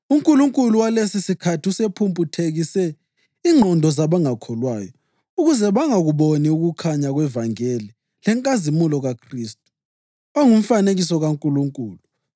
Unkulunkulu walesisikhathi usephumputhekise ingqondo zabangakholwayo, ukuze bangakuboni ukukhanya kwevangeli lenkazimulo kaKhristu, ongumfanekiso kaNkulunkulu.